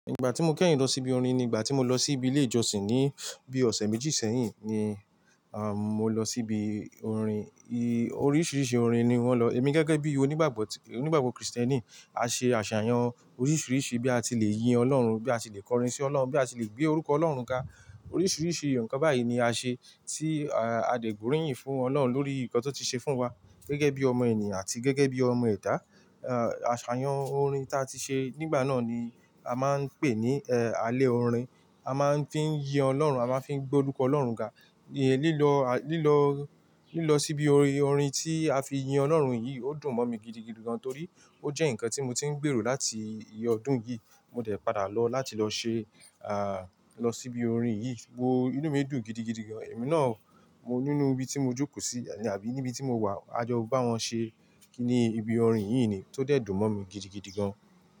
Ìgbà tí mo kẹ́yìn lọ síbi orin ni ìgbà tí mo lọ síbi ilé ìjọsìn ní bí ọ̀sẹ̀ méjì sẹ́yìn ni àm, mo lọ síbi orin. Oríṣiríṣi orin ni wọ́n lọ. Èmi gẹ́gẹ́ bí onígbàgbọ́ tí-- onígbàgbọ́ Kristẹni, a ṣe àṣàyàn oríṣiríṣi bí a ti lè yin Ọlọ́run, bí a ti lè kọrin sí Ọlọ́run, bí a ti lè gbé orúkọ Ọlọ́run ga. Oríṣiríṣi ǹkan báyìí ni a ṣe tí adé gbórínyìn fún Ọlọ́run lórí nǹkan tó ti ṣe fún wa gẹ́gẹ́ bí ọmọ ènìyàn àti gẹ́gẹ́ bí ọmọ ẹ̀dā Àṣàyàn orin ta ti ṣe nígbà náà ni a máa ń pè ní ẹ́, alẹ́ orin. A máa ń fí í yin Ọlọ́run, a máa ń fí í gbé orúkọ Ọlọ́run ga. Lílọ à, Lílọ, Lílọ síbi orin tí a fi yin Ọlọ́run yìí ó dùn mọ́ mi gidigidi gan torí ó jẹ́ ǹkan tí mo ti ń gbèrò láti ìyẹ́ ọdún yìí. Mo dẹ̀ padà lọ láti lọ ṣe, à, lọ síbi orin yìí. Wo, inú mi dùn gidigidi gan. Ẹ̀mí náà, mo nínú ibi tí mo jókòó sí àbí níbi tí mo wà. A jọ bá wọn ṣe ní ibi orin yìí ni tó dẹ̀ dùn mọ́ mi gidigidi gan.